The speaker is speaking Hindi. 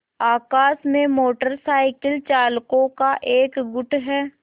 आकाश में मोटर साइकिल चालकों का एक गुट है